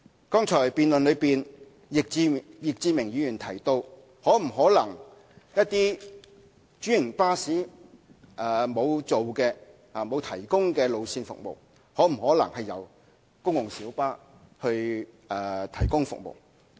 剛才易志明議員在辯論中提到，對於一些沒有專營巴士提供服務的路線，可否由專線小巴提供服務？